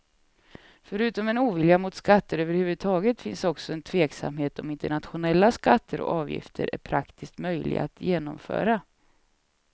Förutom en ovilja mot skatter överhuvudtaget finns också en tveksamhet om internationella skatter och avgifter är praktiskt möjliga att genomföra.